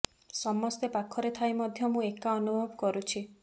ସମସ୍ତେ ପାଖରେ ଥାଇ ମଧ୍ୟ ମୁଁ ଏକା ଅନୁଭବ କରୁଛି